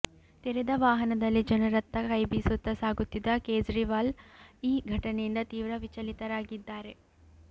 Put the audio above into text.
ತೆರೆದ ವಾಹನದಲ್ಲಿ ಜನರತ್ತ ಕೈಬೀಸುತ್ತಾ ಸಾಗುತ್ತಿದ್ದ ಕೇಜ್ರಿವಾಲ್ ಈ ಘಟನೆಯಿಂದ ತೀವ್ರ ವಿಚಲಿತರಾಗಿದ್ದಾರೆ